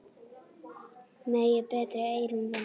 Megi betri eyrun vinna.